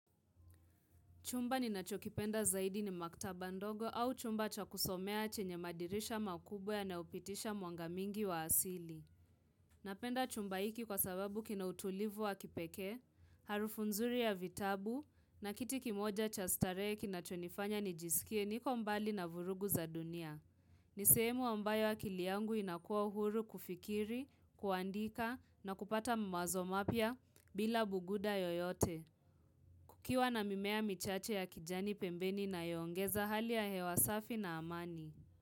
Chumba ni nacho kipenda zaidi ni maktaba ndogo au chumba cha kusomea chenye madirisha makubwe nayo pitisha mwanga mingi wa asili. Napenda chumba hiki kwa sababu kina utulivu wa kipeke, harufu nzuri ya vitabu na kiti kimoja cha starehe kinacho nifanya nijisikie niko mbali na vurugu za dunia. Ni sehemu ambayo akili yangu inakuwa huru kufikiri, kuandika na kupata mawazo mapia bila buguda yoyote. Kukiwa na mimea michache ya kijani pembeni na yongeza hali ya hewa safi na amani.